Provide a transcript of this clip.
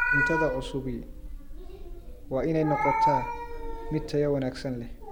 Cuntada cusubi waa inay noqotaa mid tayo wanaagsan leh.